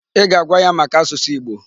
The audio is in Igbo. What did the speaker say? Ị ga-agwa ya maka asụsụ Igbo!